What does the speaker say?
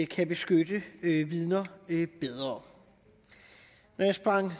kan beskytte vidner bedre når jeg sprang